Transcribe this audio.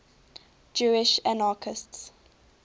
jewish anarchists